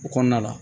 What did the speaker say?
O kɔnɔna la